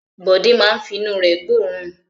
Bọ̀dé máa fi inú rẹ̀ gbóòórùn.